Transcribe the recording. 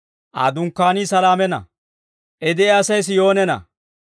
Aa dunkkaanii Saleemana; I de'iyaasay S'iyoonena.